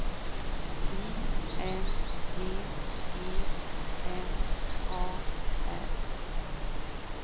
I N G E M A R